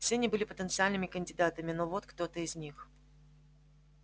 все они были потенциальными кандидатами но вот кто-то из них